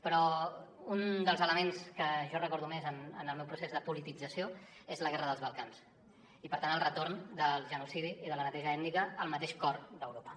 però un dels elements que jo recordo més en el meu procés de politització és la guerra dels balcans i per tant el retorn del genocidi i de la neteja ètnica al mateix cor d’europa